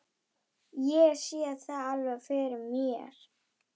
Ég sé það alveg fyrir mér.